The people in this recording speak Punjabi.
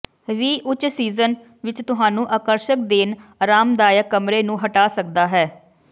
ਵੀ ਉੱਚ ਸੀਜ਼ਨ ਵਿੱਚ ਤੁਹਾਨੂੰ ਆਕਰਸ਼ਕ ਦੇਣ ਆਰਾਮਦਾਇਕ ਕਮਰੇ ਨੂੰ ਹਟਾ ਸਕਦਾ ਹੈ